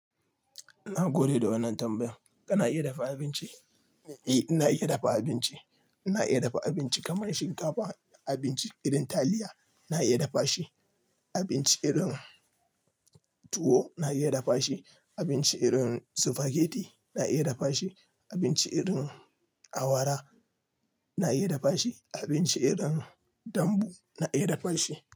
Na gode da wannan tambayan. Kana iya dafa abinci? Eh, na iya dafa abinci. Na iya dafa abinci kamar shinkafa, abinci irin taliya na iya dafa shi, abinci irin tuwo na iya dafa shi. Abinci irin sufageti na iya dafa shi. Abinci irin awara na iya dafa shi. Abinci irin dambu na iya dafa shi.